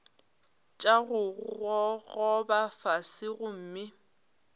tša go gogoba fase gomme